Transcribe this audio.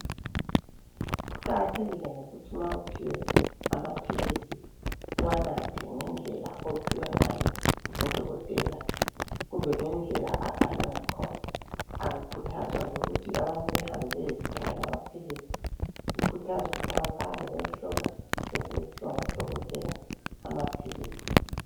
Kuqakathekile ukuthi ma uphiwe amaphilisi uwanathe ngendlela ophiwe ngayo ngudokotela kumbe ngendlela abhalwe ngayo . Akukhuthazwa ukuthi abantu behambe bayezithengela amaphilisi ,kukhuthazwa ukuthi abantu bahambe bayehlolwa besebephiwa ngudokotela amaphilisi.